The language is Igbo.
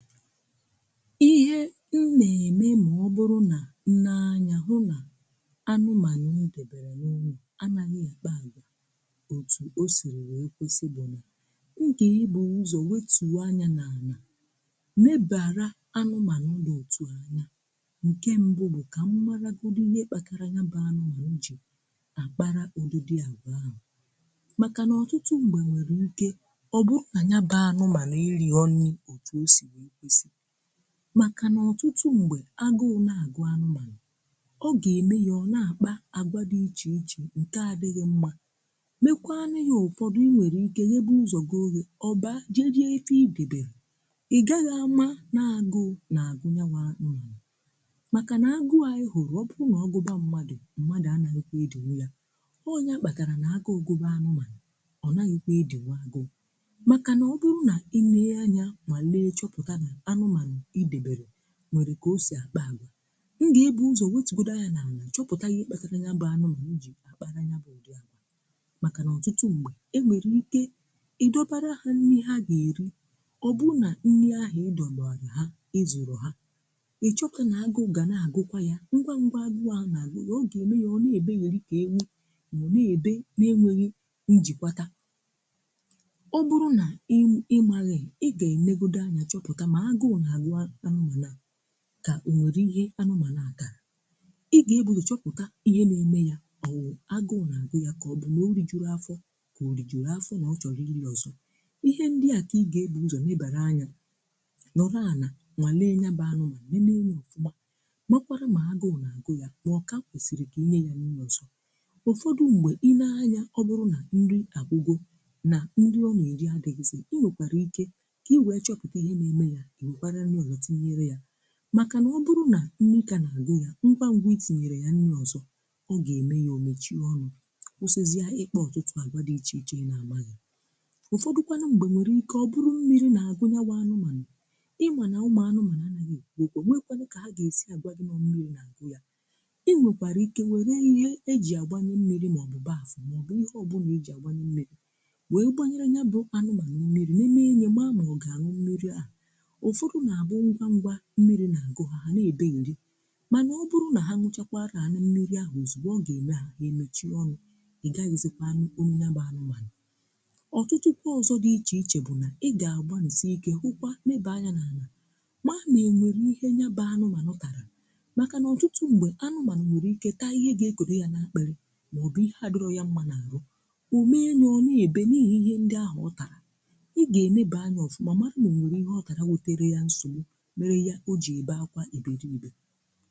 Ihe m na-eme ma ọ bụrụ na nne anya hụ na anụmanụ̀ m debere n’ụnọ̀, anaghị ekpa agwa òtù ọ sìrì wee kwesi bù na, m ga ebu̇ ụzọ̀ wetùọ anya n’ana mebara anụmanụ̀m dị òtù a anya nke mbụ̀ bụ̀ ka m maragọdụ ihe kpakara nyabụ anụmanụ̀ jì akpara ụdùdị agwa ahụ. Maka na ọtụtụ m̀gbe nwere ike ọ bụ̀ na nyabụ anụmanụ̀ erighọ nni ọtụ ọ si wee kwesi. Maka na ọtụtụ mgbe, agụụ na-agụ anụmanụ̀ ọ ga-eme ya ọ na-akpa agwa dị iche iche nke adịghị mma mekwaa nụ ya ụfọdụ i nwere ike nye bụ ụzọ gị ọghe, ọbaa, jee rie ife idebelụ, igaghị ama nọ agụụ na-agụ nya nwe na maka na agụụ a ị hụrụ ọ bụụ na ọgụba mmadụ̀ mmadụ̀ anaghị kwa edinwụ ya. Ọ ya kpatara na agụụ gụba anụmanụ̀ ọ naghị kwa edinwụ agụụ. Maka na ọ bụrụ na ị nee anya ma lee, chọpụta na anụmanụ idebere nwere ka ọsi akpa agwa, m ga-ebụ ụzọ nwetụ gọdi anya na ani chọpụta ihe kpatara ya bụ anụmanụ jì akpara ya bụ ụdị agwa maka na ọtụtụ mgbe e nwere ike idọbara ha nni ha ga-eri, ọ bụ na nni ahụ ịdọbalu ha ezụrọ ha, ị chọpụta na-agụ ga na-agụkwa ya. Ngwa ngwa agụọ ahụ na-agụ ya, ọ ga-eme ya, ọ na-ebegheri ka ewụ ma ọ na-ebe n’enweghi njikwata. Ọ bụrụ na ị ị maghị ị ga-enegọdụ anya chọpụta mọ agụụ na agụ a anụmanụ a ka ọ nwere ihe anụmanụ a tara. ị ga-ebụ ụzọ chọpụta ihe na-eme ya, ọwụ agụụ na-agụ ya ka ọbụ na ọrijụlọ afọ ka ọrijụrụ afọ na ọ chọrọ ịli ọzọ. Ihe ndị a ka ị ga-ebụ ụzọ̀ nebara anya nọlụ ana nwalee nyaba anụmanụ nenee ya ọfụma makwara ma agụụ na-agụ̀ ya, ma ọka kwesiri ka inye ya nni ọzọ. Ụfọdụ mgbe, i nee anya ọbụrụ na nrì agwụgọ̀ na nrị ọ na-eri adịghịzị̀, inwekwara ike ka iwee chọpụta ihe na eme ya, iwekwara nri ọzọ tinyere ya maka na ọ bụrụ na nni ka na agụ ya ngwa ngwa i tinyere ya nri ọzọ̀, ọ ga-eme ya ọ mechie ọnụ̇ kwụsịzịa ikpa ọ̀tụtụ̀ agwa dị̇ iche iche ina amaghị̀. Ụ̀fọdụkwanụ m̀gbe nwere ike ọ bụrụ mmiri na agụu nya wụ anụmanụ̀. Ịma na ụmụ̀ anụmanụ̀ anaghị̀ ekwụ ọkwụ onweghi kwanụ ka ha ga-esi agwa ga nọ mmiri na-agụ ya. Ị nwekwara ike were ihe e jì agbanye mmiri maọbụ baf maọbụ ihe ọbụna i jì agbanye mmiri wee gbanyere ya bụ anụmanụ̀ mmiri nenee nye ma nọ ọ ga-aṅụ mmiri a. Ụfọdụ na abụ ngwa ngwa mmiri̇ na-agụ ha, ha na ebegheri mana ọ bụrụ̀ na ha ñuchakwa ana mmiri ahụ̀ ọzìgbò ọ ga-eme ha ha emechie ọnụ̀ ịgaghizikwa anụ̀ ọnụ ya bụ anụmanụ. Ọtụtụ kwa ọzọ̀ dị iche iche bụ̀ na ị ga-agbanisì ike hụkwa, neebe anya n’ana mara na enwere ihe nya bụ anụ̀manụ̀ tara maka na ọtụtụ ṁgbe anụ̀manụ̀ nwere ike taa ihe ga-ekọdọ ya n’akpiri maọ̀bụ̀ ihe adirọ ya mma na-arụ̀, ọme ya, ọ na-ebe n’ihi ihe ndị ahụ̀ ọ tara. Ị ga-enėbe anya ofụma mara ma enwere ihe ọtara wetara ya nsọgbụ mere ya, ọ ji ebe akwa iberibe.